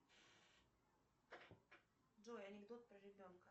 джой анекдот про ребенка